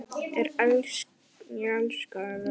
Ég elskaði þau.